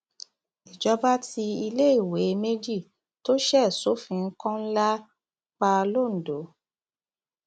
ìjọba tí iléèwé méjì tó ṣe sófin kọńlá pa londo